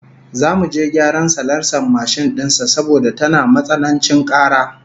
Zamu je gyaran salansar mashin din sa saboda tana matsanancin kara